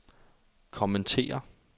kommentere